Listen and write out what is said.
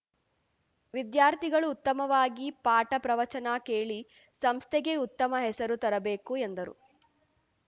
ವಿದ್ಯಾರ್ಥಿಗಳು ಉತ್ತಮವಾಗಿ ಪಾಠ ಪ್ರವಚನ ಕೇಳಿ ಸಂಸ್ಥೆಗೆ ಉತ್ತಮ ಹೆಸರು ತರಬೇಕು ಎಂದರು